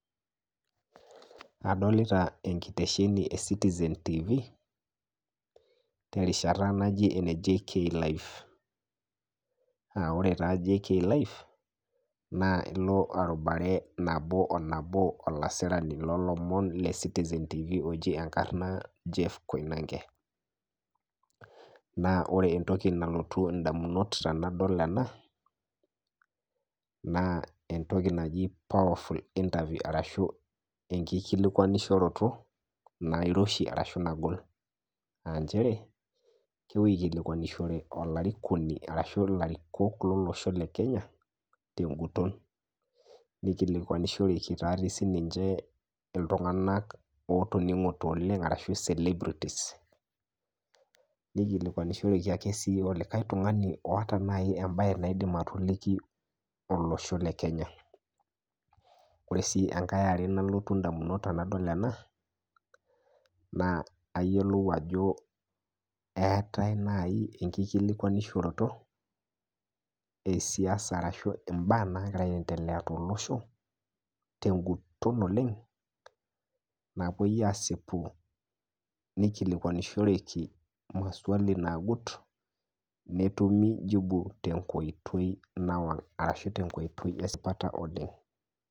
adolita enkitesheni e citizen tv terishata naji ene JK live naa ilo arubare nabo o nabo olasirani lolomon le citizen tv oji enkarrna Jeff koinange naa ore entoki nalotu indamunot tanadol ena naa entoki naji powerful interview arashu enkikualinishoroto nairoshi arashu nagol anchere kepuoi aikilikwanishore olarikoni arashu ilarikok lolosho le kenya tenguton nikilikwanishoreki tatii sininche iltung'anak otoning'ote oleng arashu celebrities nikilikwanishoreki ake sii olikae tung'ani oota naji embae naidim atoliki olosho le kenya ore sii enkae are nalotu indamunot tenadol ena naa ayiolou ajo eetae naaji enkikilikuanishoroto esiasa arashu imbaa nagira aendelea tolosho tenguton oleng napuoi asipu nikilikwanishoreki maswali nagut netumi jibu tenkoitoi nawang arashu tenkoitoi esipata oleng.